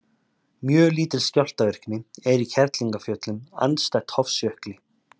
Mjög lítil skjálftavirkni er í Kerlingarfjöllum andstætt Hofsjökli.